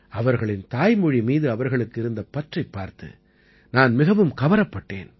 அவர்களின் தாய்மொழி மீது அவர்களுக்கு இருந்த பற்றைப் பார்த்து நான் மிகவும் கவரப்பட்டேன்